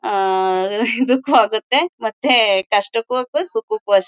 ಆ ಇದಕ್ಕೂ ಆಗುತ್ತೆ ಮತ್ತೆ ಕಷ್ಟಕ್ಕೂ ಅಷ್ಟೇ ಸುಖಕ್ಕೂ ಅಷ್ಟೇ.